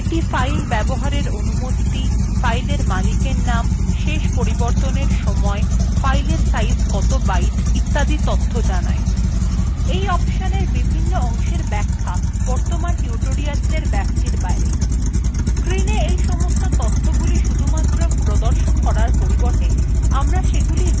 এই অপশনএর বিভন্ন অংশের ব্যাখ্যা বর্তমান tutorial ব্যাপ্তির বাইরে